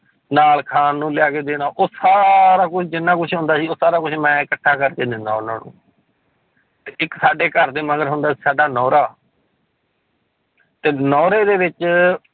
ਨਾਲ ਖਾਣ ਨੂੰ ਲਿਆ ਕੇ ਦੇਣਾ ਉਹ ਸਾਰਾ ਕੁਛ ਜਿੰਨਾ ਕੁਛ ਹੁੰਦਾ ਸੀ, ਉਹ ਸਾਰਾ ਕੁਛ ਮੈਂ ਇਕੱਠਾ ਕਰਕੇ ਦਿੰਦਾ ਉਹਨਾਂ ਨੂੰ ਤੇ ਇੱਕ ਸਾਡੇ ਘਰ ਦੇ ਮਗਰ ਹੁੰਦਾ ਸੀ ਸਾਡਾ ਨਹੁਰਾ ਤੇ ਨਹੁਰੇ ਦੇ ਵਿੱਚ